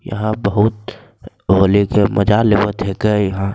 यहाँ बहुत होली के मजा लेवत हकै इहाँ।